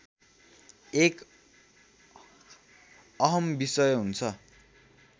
एक अहम् विषय हुन्छ